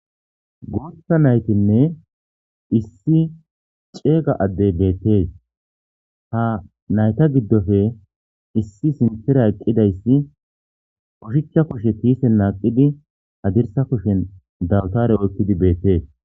guutha naytinne issi ceega addey beettees ha nayta giddofe issi sintera eqqidayssi ushichcha kushe kiise naaqidi hadirsa kushen dawtare oykkidi beettees